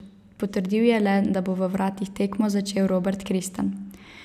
Potrdil je le, da bo v vratih tekmo začel Robert Kristan.